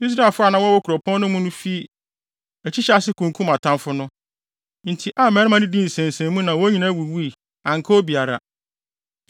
Israelfo a na wɔwɔ kuropɔn no mu fii akyi hyɛɛ ase kunkum atamfo no. Enti Ai mmarima no dii nsensɛnmu na wɔn nyinaa wuwui. Anka obi biara.